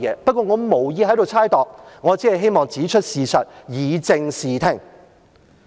不過，我無意在此猜度，我只希望指出事實，以正視聽。